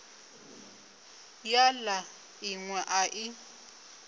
ya la inwe a i